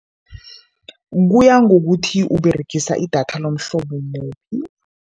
Kuya ngokuthi Uberegisa idatha lomhlobo muphi.